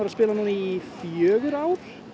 í fjögur ár